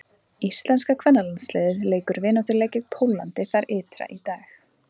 Íslenska kvennalandsliðið leikur vináttuleik gegn Póllandi þar ytra í dag.